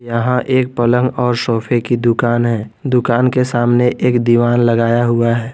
यहां एक पलंग और सोफे की दुकान है दुकान के सामने एक दीवान लगाया हुआ है।